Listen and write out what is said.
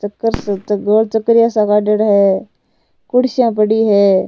चकर सा गोल चक्रीय सा काड़ेडा है कुर्सियां पड़ी है।